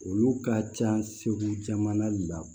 Olu ka ca segu jamana de la